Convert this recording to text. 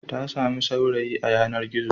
Ta sami saurayi a yanar-gizo.